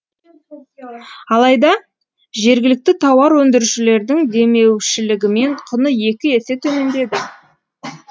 алайда жергілікті тауар өндірушілердің демеушілігімен құны екі есе төмендеді